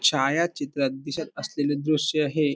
छायाचित्रात दिसत असलेलं दृश्य हे--